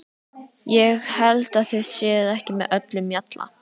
Ég held að þið séuð ekki með öllum mjalla!